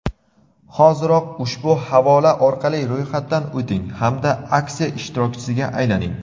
Hoziroq ushbu havola orqali ro‘yxatdan o‘ting hamda aksiya ishtirokchisiga aylaning!.